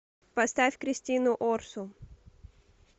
поставь кристину орсу